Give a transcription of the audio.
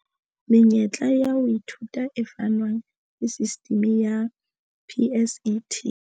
Menyetla ya ho ithuta e fanwang ke sistimi ya PSET.